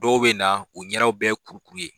Dɔw be na u ɲɛdaw bɛɛ ye kurukuru ye.